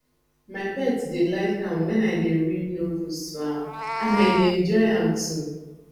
my pet dey like am wen i dey read novels to am and i dey enjoy am too